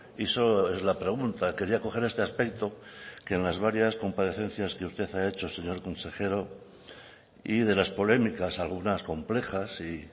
y eso es la pregunta quería coger este aspecto que en las varias comparecencias que usted ha hecho señor consejero y de las polémicas algunas complejas y